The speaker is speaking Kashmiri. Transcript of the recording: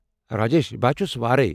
راجیش، بہٕ ہا چھُس وارے۔